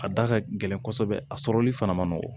A da ka gɛlɛn kɔsɔbɛ a sɔrɔli fana ma nɔgɔn